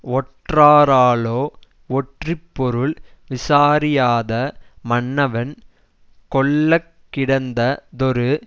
ஒற்றாராலோ ஒற்றிப் பொருள் விசாரியாத மன்னவன் கொள்ள கிடந்ததொரு